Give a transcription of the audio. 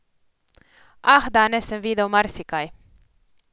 Ah, danes sem videl marsikaj.